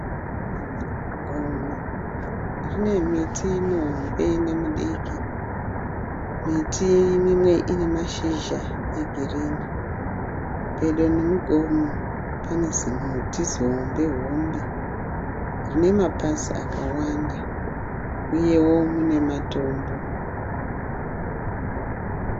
Gomo rine miti mihombe nemidiki. Miti imwe ine mazhizha egirini. Pedo nemugomo pane zimuti zihombe rine mapazi akawanda uyewo mune matombo.